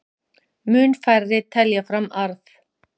Mun færri telja fram arð